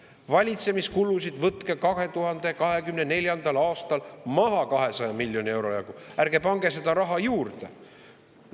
Valitsemiskulusid võtke 2024. aastal maha 200 miljoni euro jagu, ärge pange seda raha juurde.